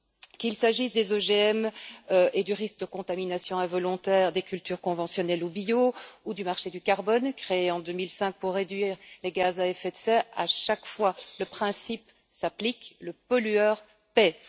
Qu'il s'agisse des OGM et du risque de contamination involontaire des cultures conventionnelles ou bio, ou du marché du carbone, créé en 2005 pour réduire les gaz à effet de serre, à chaque fois, le principe s'applique le pollueur paie.